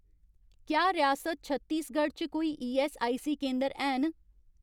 क्या रियासत छत्तीसगढ च कोई ईऐस्सआईसी केंदर हैन